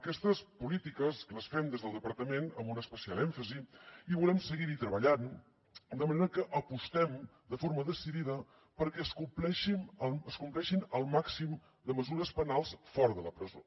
aquestes polítiques les fem des del departament amb un especial èmfasi i volem seguir hi treballant de manera que apostem de forma decidida perquè es compleixin el màxim de mesures penals fora de la presó